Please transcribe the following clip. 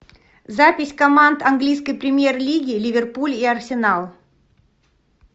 запись команд английской премьер лиги ливерпуль и арсенал